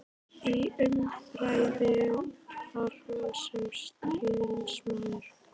Í umræðu var hún sem stríðsmaður.